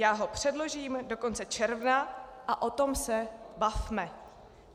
Já ho předložím do konce června a o tom se bavme.